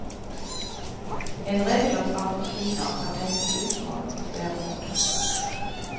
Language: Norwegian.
En regel om straffritak kan tenkes utformet på flere måter.